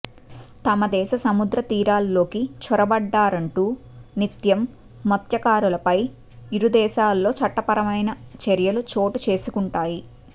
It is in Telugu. తమ దేశ సముద్రతీరాల్లోకి చొరబడ్డారంటూ నిత్యం మత్స్య కారులపై ఇరుదేశాల్లో చట్టపరమైన చర్యలు చోటు చేసుకుంటాయి